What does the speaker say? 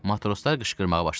Matroslar qışqırmağa başladılar.